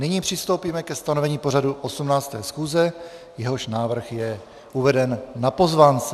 Nyní přistoupíme ke stanovení pořadu 18. schůze, jehož návrh je uveden na pozvánce.